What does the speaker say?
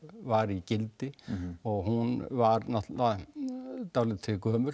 var í gildi og hún var náttúrulega orðin dálítið gömul